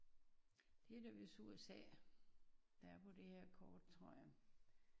Det er da vist USA der er på det her kort tror jeg